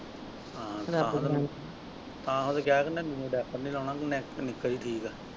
ਹਾਂ ਆਹੋ ਤੇ ਕਿਹਾ diaper ਨੀ ਲਾਉਣਾ ਨਿੱਕਾ ਹੀ ਠੀਕ ਆ।